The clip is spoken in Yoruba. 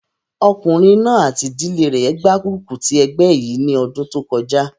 Ọkùnrin náà àti ìdílé rẹ̀ gbárùkù ti ẹgbẹ́ yìí ní ọdún kọjá